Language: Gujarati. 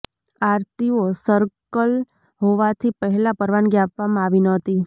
આરટીઓ સર્કલ હોવાથી પહેલાં પરવાનગી આપવામાં આવી ન હતી